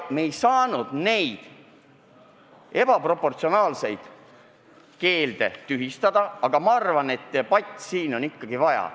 Me ei saanud neid ebaproportsionaalseid keelde tühistada ja selle üle on edasist debatti vaja.